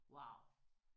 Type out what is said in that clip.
Wow